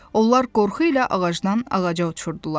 Onlar qorxu ilə ağacdan ağaca uçurdular.